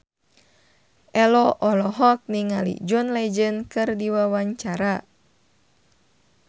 Ello olohok ningali John Legend keur diwawancara